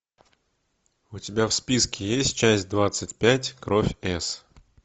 у тебя в списке есть часть двадцать пять кровь с